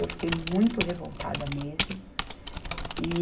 Eu fiquei muito revoltada mesmo. E